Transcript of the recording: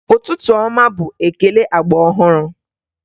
Ụtụtụ ọma bụ ekele agba ọhụrụ